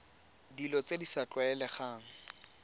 dilo tse di sa tlwaelegang